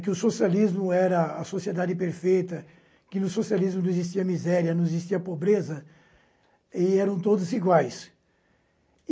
que o socialismo era a sociedade perfeita, que no socialismo não existia miséria, não existia pobreza, e eram todos iguais.